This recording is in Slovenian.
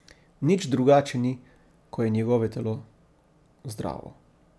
Nič drugače ni, ko je njegove telo zdravo.